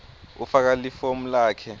ufaka lifomu lakho